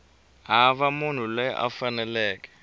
hava munhu loyi a faneleke